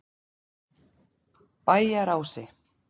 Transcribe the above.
Bæjarási